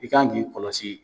I kan k'i kɔlɔsi